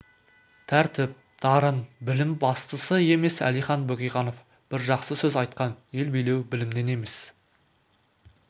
тәртіп дарын білім бастысы емес әлихан бөкейханов бір жақсы сөз айтқан ел билеу білімнен емес